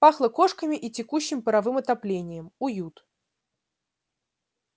пахло кошками и текущим паровым отоплением уют